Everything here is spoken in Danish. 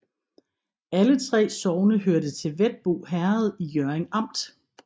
Alle 3 sogne hørte til Hvetbo Herred i Hjørring Amt